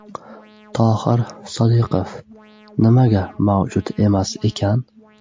Tohir Sodiqov: Nimaga mavjud emas ekan!?